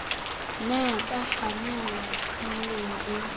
nna tsa kgannela tshenyong e